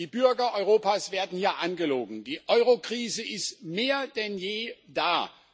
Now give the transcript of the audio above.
Die Bürger Europas werden hier angelogen Die Eurokrise ist mehr denn je da.